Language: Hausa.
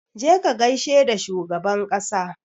Je ka gaishe da shugaban ƙasa!